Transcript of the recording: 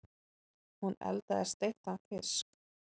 Hún eldaði steiktan fisk.